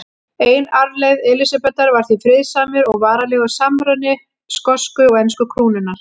Ein arfleifð Elísabetar var því friðsamur og varanlegur samruni skosku og ensku krúnanna.